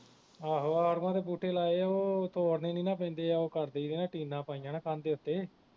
ਆਹੋ ਆੜੂਆਂ ਦੇ ਬੂਟੇ ਲਾਏ ਉਹ ਤੋੜਨੇ ਨੀ ਨਾ ਪੈਂਦੇ ਉਹ ਕਰ ਦਈ ਦੇ ਟੀਨਾਂ ਪਾਈਆ ਨਾ ਕੰਧ ਦੇ ਉਤੇ